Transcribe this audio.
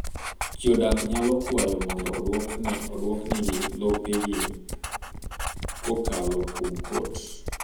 Jodak nyalo kwayo mondo oduok nigi lopegi kokalo kuom kot .